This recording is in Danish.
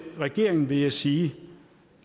regeringen vil jeg sige